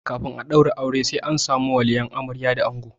Kafin a ɗaura aure sai an samu waliyan amarya da ango.